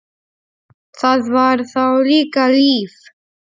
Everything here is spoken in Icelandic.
Það var þá líka líf!